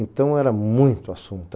Então era muito assunto.